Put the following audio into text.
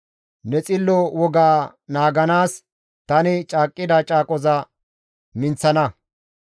Ne xillo woga naaganaas tani caaqqida caaqoza minththana.